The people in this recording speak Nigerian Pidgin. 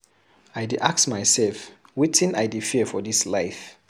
I dey ask mysef wetin I dey fear for dis life.